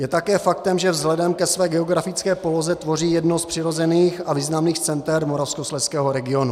Je také faktem, že vzhledem ke své geografické poloze tvoří jedno z přirozených a významných center moravskoslezského regionu.